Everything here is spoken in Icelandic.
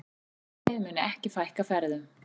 Félagið muni ekki fækka ferðum.